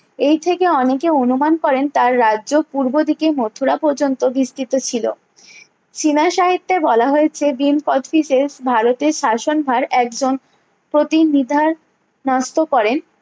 এই থেকে অনেকে অনুমান করেন তার রাজ্য পূর্ব দিকে মথুরা পর্যন্ত বিস্তৃত ছিলো চীনা সাহিত্যে বলা হয়েছে ভীম কোচটিজের ভারতের শাসন ভার একজন প্রতি নিদার ন্যাস্ত করেন